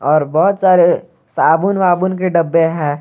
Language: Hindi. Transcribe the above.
और बहोत सारे साबुन वाबुन के डब्बे हैं।